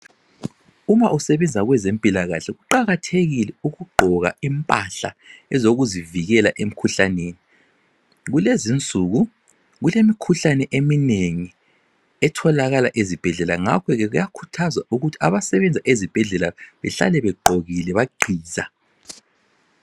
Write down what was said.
Uma usebenza kwezempilakahle kuqakathekile ukuqgoka impahla ezokuzivikela emkhuhlaneni. Kulezinsuku kulemikhuhlane eminengi etholakala ezibhedlela ngakho ke kuyakhuthazwa ukuthi abasebenza ezibhedlela behlale beqgokile baqgiza.